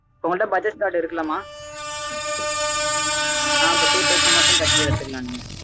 இப்போ உங்கள்ட bajaj card இருக்கு ல மா அப்போ two thousand மட்டும் கட்டி எடுத்துக்கலாம் நீங்க